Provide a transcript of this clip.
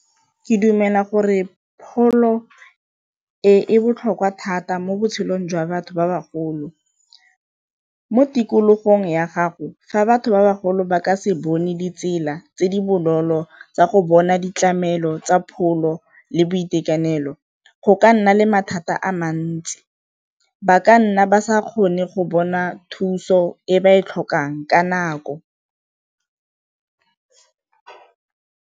Ke dumela gore pholo e e botlhokwa thata mo botshelong jwa batho ba bagolo, mo tikologong ya gago ga batho ba bagolo ba ka se bone ditsela tse di bonolo tsa go bona ditlamelo tsa pholo le boitekanelo go ka nna le mathata a mantsi, ba ka nna ba sa kgone go bona thuso e ba e tlhokang ka nako.